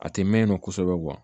A tɛ mɛn kosɛbɛ kuwa